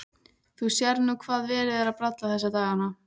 Þú sérð nú hvað verið er að bralla þessa dagana.